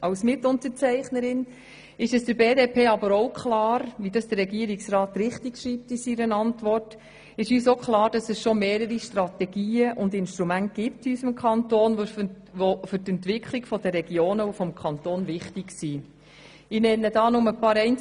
Als Mitunterzeichnerin ist der BDP aber auch klar, dass es in unserem Kanton bereits mehrere Strategien und Instrumente gibt, die für die Entwicklung der Regionen und des Kantons wichtig sind, wie die Regierungsantwort richtig darstellt.